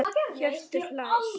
Hjörtur hlær.